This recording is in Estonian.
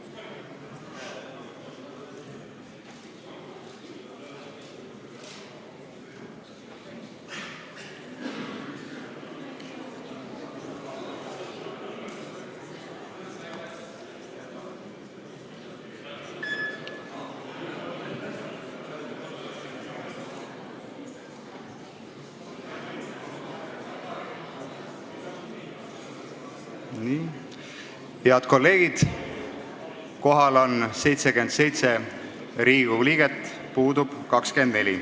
Kohaloleku kontroll Head kolleegid, kohal on 77 Riigikogu liiget, puudub 24.